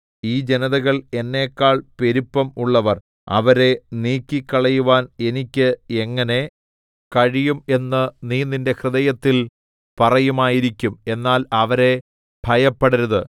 ഈ ജനതകൾ എന്നെക്കാൾ പെരുപ്പം ഉള്ളവർ അവരെ നീക്കിക്കളയുവാൻ എനിക്ക് എങ്ങനെ കഴിയും എന്ന് നീ നിന്റെ ഹൃദയത്തിൽ പറയുമായിരിക്കും എന്നാൽ അവരെ ഭയപ്പെടരുത്